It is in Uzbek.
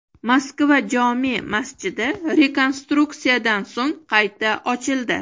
Moskva jome’ masjidi rekonstruksiyadan so‘ng qayta ochildi.